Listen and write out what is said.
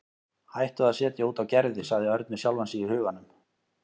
Hættu að setja út á Gerði sagði Örn við sjálfan sig í huganum.